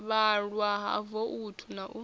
vhalwa ha voutu na u